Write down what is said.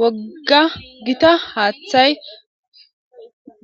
Woga gita hathayi